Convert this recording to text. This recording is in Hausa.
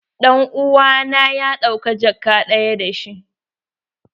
Dan uwa na ya ɗauka jakka daya da shi.